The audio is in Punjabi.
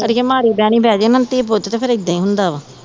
ਅੜੀਏ ਮਾੜੀ ਬਹਿਨੀ ਬਹਿ ਜ ਨਾ ਥੀ ਪੁੱਤ ਤੇ ਫਿਰ ਏਦਾਂ ਈ ਹੁੰਦਾ ਵਾ